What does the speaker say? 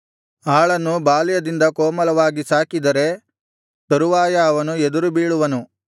ಆಳನ್ನು ಬಾಲ್ಯದಿಂದ ಕೋಮಲವಾಗಿ ಸಾಕಿದರೆ ತರುವಾಯ ಅವನು ಎದುರುಬೀಳುವನು